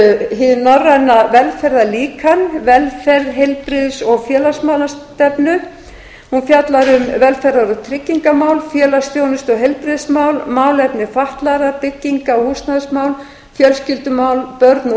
hið norræna velferðarlíkan velferð heilbrigðis og félagsmálastefnu hún fjallar um velferðar og tryggingamál félagsþjónustu og heilbrigðismál málefni fatlaðra bygginga og húsnæðismál fjölskyldumál börn og